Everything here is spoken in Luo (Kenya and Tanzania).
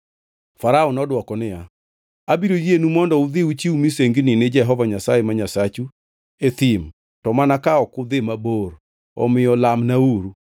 Farao nodwoko niya, “Abiro yienu mondo udhi uchiw misengini ni Jehova Nyasaye ma Nyasachu e thim to mana ka ok udhi mabor. Omiyo lamnauru.”